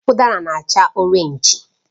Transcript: Udara na acha Orénj